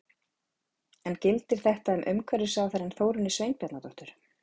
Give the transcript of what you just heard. En gildir þetta um umhverfisráðherrann Þórunni Sveinbjarnardóttur?